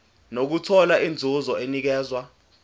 nokuthola inzuzo enikezwa